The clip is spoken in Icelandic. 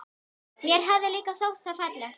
Mér hafði líka þótt það fallegt.